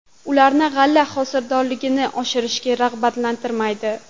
Ularni g‘alla hosildorligini oshirishga rag‘batlantirmaydi.